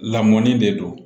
Lamɔni de don